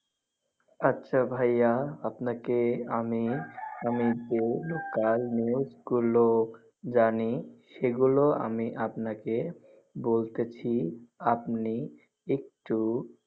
আচ্ছা ভাইয়া আপনাকে আমি~ আমি যে local news গুলো জানি সেগুলো আমি আপনাকে বলতেছি আপনি একটু।